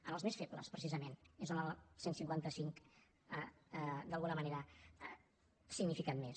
en els més febles precisament és on el cent i cinquanta cinc d’alguna manera ha significat més